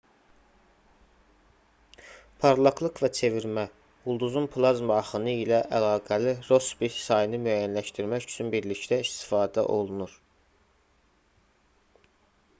parlaqlıq və çevirmə ulduzun plazma axını ilə əlaqəli rossbi sayını müəyyənləşdirmək üçün birlikdə istifadə olunur